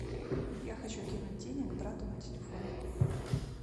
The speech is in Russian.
я хочу кинуть денег брату на телефон